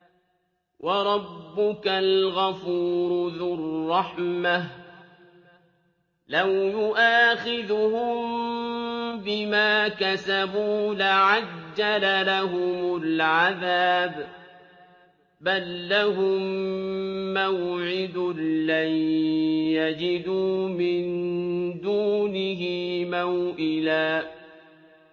وَرَبُّكَ الْغَفُورُ ذُو الرَّحْمَةِ ۖ لَوْ يُؤَاخِذُهُم بِمَا كَسَبُوا لَعَجَّلَ لَهُمُ الْعَذَابَ ۚ بَل لَّهُم مَّوْعِدٌ لَّن يَجِدُوا مِن دُونِهِ مَوْئِلًا